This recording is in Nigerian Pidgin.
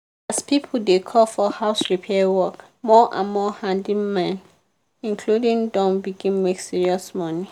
as people dey call for house repair work more and more handyman inc. don begin make serious money.